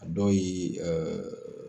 A dɔw ye